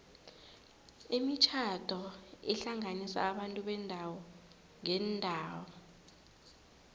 imitjhado ihlanganisa abantu beendawo ngeendawo